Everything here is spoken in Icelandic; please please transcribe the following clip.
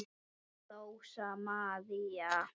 Rósa María.